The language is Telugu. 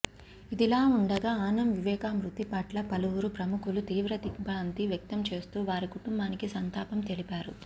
ఇదిలావుండగా ఆనం వివేకా మృతి పట్ల పలువురు ప్రముఖులు తీవ్ర దిగ్భ్రాంతి వ్యక్తం చేస్తూ వారి కుటుంబానికి సంతాపం తెలిపారు